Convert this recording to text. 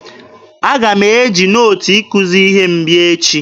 Aga m eji nootu ikuzi ihe m bịa echi